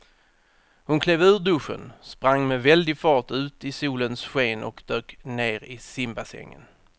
Hon klev ur duschen, sprang med väldig fart ut i solens sken och dök ner i simbassängen.